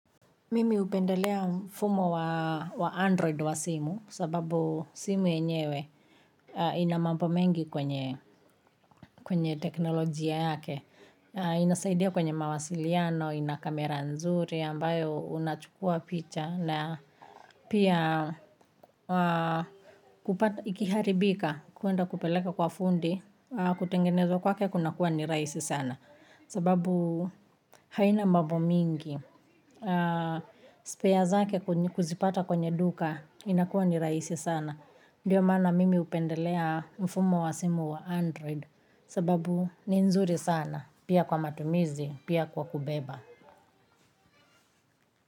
Mimi hupendelea mfumo wa android wa simu kwa sababu simu yenyewe ina mambo mengi kwenye teknolojia yake. Inasaidia kwenye mawasiliano, ina kamera nzuri ambayo unachukua picha na pia kupata ikiharibika kuenda kupeleka kwa fundi, kutengenezwa kwake kunakuwa ni rahisi sana sababu haina mambo mengi, spare zake kuzipata kwenye duka inakuwa ni rahisi sana ndio maana mimi hupendelea mfumo wa simu wa android kwa sababu ni nzuri sana pia kwa matumizi, pia kwa kubeba.